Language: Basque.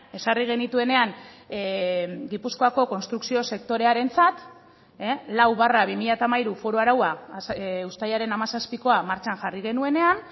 ezarri genituenean gipuzkoako konstrukzio sektorearentzat lau barra bi mila hamairu foru araua uztailaren hamazazpikoa martxan jarri genuenean